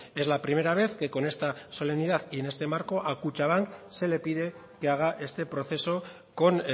es la primera vez que con esta solemnidad y en este marco a kutxabank se le pide que haga este proceso con